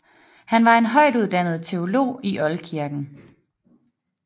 Han var en højtuddannet teolog i oldkirken